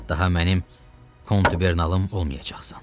Daha mənim kontubernalım olmayacaqsan.